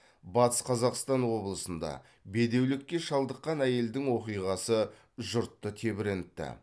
батыс қазақстан облысында бедеулікке шалдыққан әйелдің оқиғасы жұртты тебірентті